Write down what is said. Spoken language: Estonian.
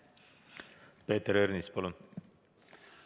Peeter Ernits, palun!